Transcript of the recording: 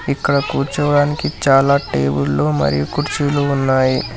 ఇక్కడ కూర్చోవడానికి చాలా టేబుల్లు మరి కుర్చీలు ఉన్నాయి.